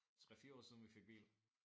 3 4 år siden vi fik bil